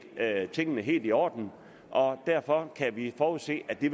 havde tingene helt i orden og derfor kan vi forudse at det